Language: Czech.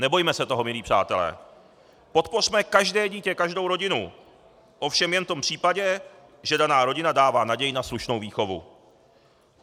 Nebojme se toho, milí přátelé, podpořme každé dítě, každou rodinu, ovšem jen v tom případě, že daná rodina dává naději na slušnou výchovu.